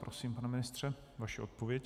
Prosím, pane ministře, vaše odpověď.